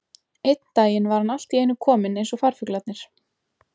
Einn daginn var hann allt í einu kominn eins og farfuglarnir.